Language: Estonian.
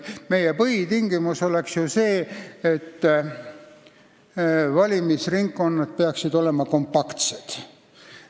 Meie põhitingimus oleks ju see, et valimisringkonnad peaksid olema kompaktsed.